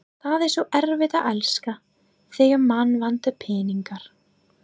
Það er svo erfitt að elska, þegar mann vantar peninga